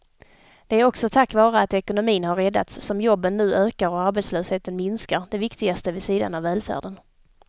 Det är också tack vare att ekonomin har räddats som jobben nu ökar och arbetslösheten minskar, det viktigaste vid sidan av välfärden.